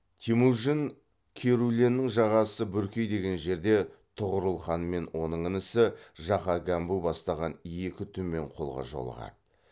темужін керуленнің жағасы бүркей деген жерде тұғырылханмен оның інісі жақа гәмбу бастаған екі түмен қолға жолығады